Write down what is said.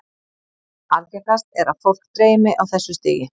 Algengast er að fólk dreymi á þessu stigi.